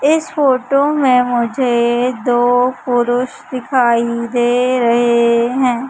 इस फोटो में मुझे दो पुरुष दिखाई दे रहे हैं।